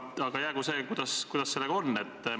Aga jäägu see, on sellega, kuidas on.